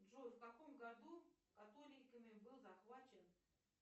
джой в каком году католиками был захвачен